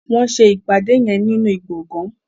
wón ṣe ìpàdé yén nínú gboôgan.